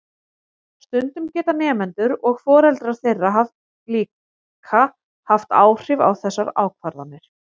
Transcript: Stundum geta nemendur og foreldrar þeirra líka haft áhrif á þessar ákvarðanir.